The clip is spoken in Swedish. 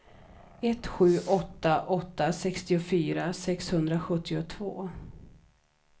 ett sju åtta åtta sextiofyra sexhundrasjuttiotvå